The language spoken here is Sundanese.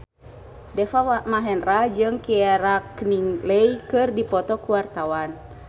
Deva Mahendra jeung Keira Knightley keur dipoto ku wartawan